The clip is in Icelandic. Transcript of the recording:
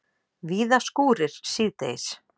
Víða skúrir síðdegis